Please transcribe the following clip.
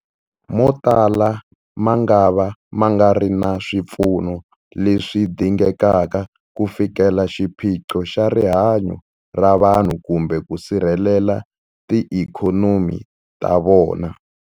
Motala mangava ma nga ri na swipfuno leswi dingekaka ku fikelela xiphiqo xa rihanyu ra vanhu kumbe ku sirhelela tiikhonomi ta vona.